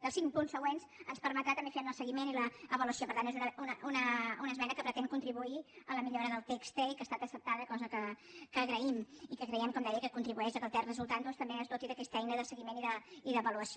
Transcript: dels cinc punts següents ens permetrà també fer ne el seguiment i l’avaluació per tant és una esmena que pretén contribuir a la millora del text i que ha estat acceptada cosa que agraïm i que creiem com deia que contribueix que el text resultant també es doti d’aquesta eina de seguiment i d’avaluació